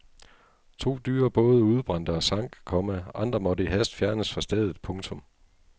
To dyre både udbrændte og sank, komma andre måtte i hast fjernes fra stedet. punktum